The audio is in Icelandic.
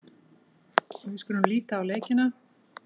Við skulum líta á leikina.